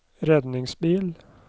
redningsbil